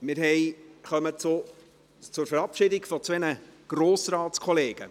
Wir kommen zur Verabschiedung von zwei Grossratskollegen.